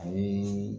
Ani